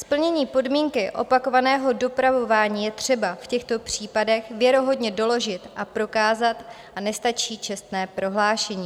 Splnění podmínky opakovaného dopravování je třeba v těchto případech věrohodně doložit a prokázat a nestačí čestné prohlášení.